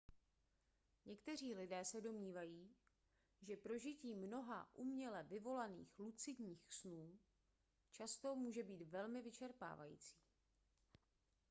někteří lidé se domnívají že prožití mnoha uměle vyvolaných lucidních snů často může být velmi vyčerpávající